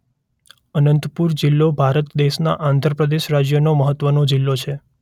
અનંતપુર જિલ્લો ભારત દેશના આંધ્ર પ્રદેશ રાજ્યનો મહત્વનો જિલ્લો છે.